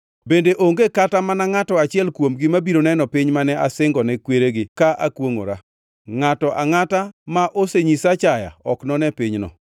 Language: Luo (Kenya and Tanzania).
Bende onge kata mana ngʼato achiel kuomgi mabiro neno piny mane asingone kweregi ka akwongʼora. Ngʼato angʼata ma osenyisa achaya ok none pinyno.